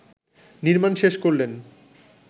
নির্মাণ শেষ করলেন